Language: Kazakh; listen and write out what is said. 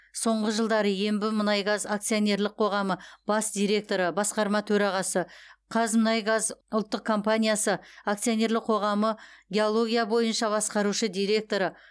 соңғы жылдары ембімұнайгаз акционерлік қоғамы бас директоры басқарма төрағасы қазмұнайгаз ұлттық компаниясы акционерлік қоғамы геология бойынша басқарушы директоры